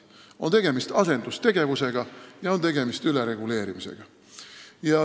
On tegemist asendustegevusega ja on tegemist ülereguleerimisega.